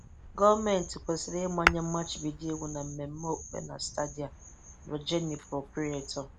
Gọọmenti kwesịrị ịmanye mmachibido iwu na mmemme okpukpe na stadia ― Rojenny Proprietor.